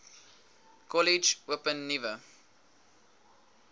kollege open nuwe